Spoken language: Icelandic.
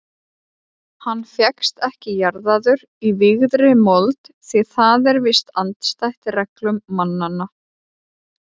Hann fékkst ekki jarðaður í vígðri mold því það er víst andstætt reglum mannanna.